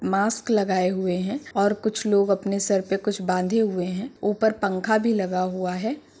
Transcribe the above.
Mask लगाए हुए हैं और कुछ लोग अपने सर पे कुछ बांधे हुए हैं ऊपर पंखा भी लगा हुआ है।